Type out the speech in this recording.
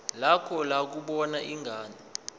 lakho lokubona ingane